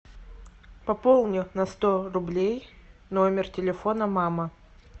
пополни на сто рублей номер телефона мама